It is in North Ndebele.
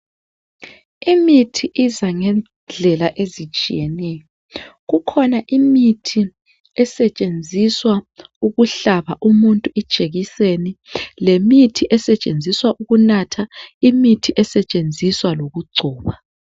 Imithi iza ngendlela ezitshiyeneyo kukhona imithi esetshenziswa ukuhlaba umuntu ijekiseni lemithi esetshenziswa ukunatha imithi esetshenziswa lokugcoba.